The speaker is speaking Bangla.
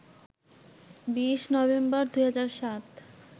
২০ নভেম্বর, ২০০৭